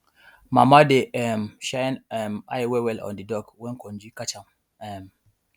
mama dey um shine um eye wellwell on di dog when konji catch am um